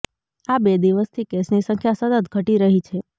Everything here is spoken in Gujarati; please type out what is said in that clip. આ બે દિવસથી કેસની સંખ્યા સતત ઘટી રહી છે